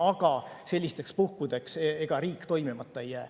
Aga ega sellistel puhkudel riik toimimata ei jää.